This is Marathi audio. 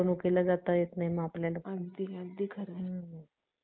Malaria होतो आणि खूप ताप आणि थंडी वाजून खूप आजारी वाटत आहे. हा रोग सक्षम समशीतोष्ण हवामानात असामान्य असला तरी